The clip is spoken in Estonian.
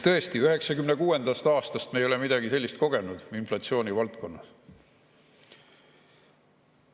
Tõesti, inflatsiooni valdkonnas ei ole me midagi sellist kogenud 1996. aastast.